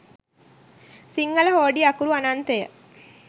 සිංහල හෝඩිය අකුරු අනන්තය